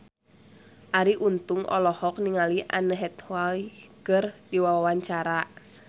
Arie Untung olohok ningali Anne Hathaway keur diwawancara